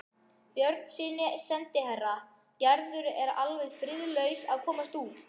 Björnssyni sendiherra: Gerður er alveg friðlaus að komast út.